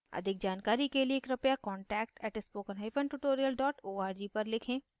अधिक जानकारी के लिए contact @spokentutorial org पर लिखें